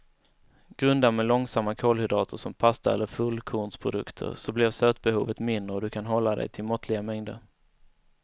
Grunda med långsamma kolhydrater som pasta eller fullkornsprodukter så blir sötbehovet mindre och du kan hålla dig till måttliga mängder.